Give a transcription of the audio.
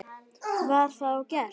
Var það og gert.